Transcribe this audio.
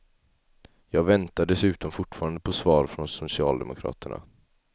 Jag väntar dessutom fortfarande på svar från socialdemokraterna.